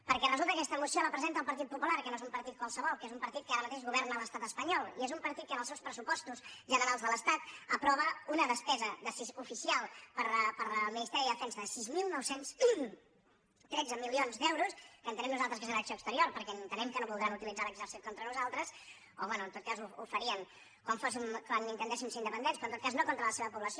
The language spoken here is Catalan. perquè resulta que aquesta moció la presenta el partit popular que no és un partit qualsevol que és un partit que ara mateix governa a l’estat espanyol i és un partit que en els seus pressupostos generals de l’estat aprova una despesa oficial per al ministeri de defensa de sis mil nou cents i tretze milions d’euros que entenem nosaltres que deu ser acció exterior perquè entenem que no deuen voler utilitzar l’exèrcit contra nosaltres o bé en tot cas ho farien quan intentéssim ser independents però en tot cas no contra la seva població